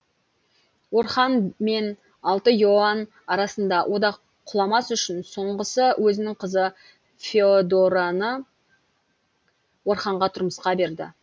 орхан мен алты иоанн арасында одақ құламас үшін соңғысы өзінің қызы феодораны орханға тұрмысқа берді